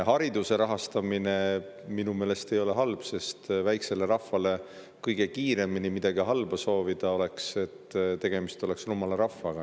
Hariduse rahastamine ei ole minu meelest halb, sest kui väiksele rahvale midagi halba soovida, siis kõige kiiremini soov oleks, et olgu tegemist rumala rahvaga.